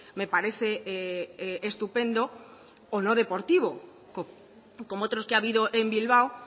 me parece estupendo o no deportivo como otros que ha habido en bilbao